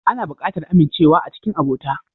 Ana buƙatar amincewa a cikin abota.